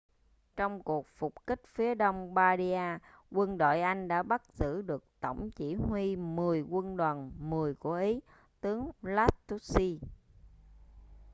trong cuộc phục kích phía đông bardia quân đội anh đã bắt giữ được tổng chỉ huy mười quân đoàn mười của ý tướng lastucci